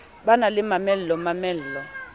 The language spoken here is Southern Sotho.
ba na le mamello mamello